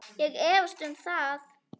Ég efast um það.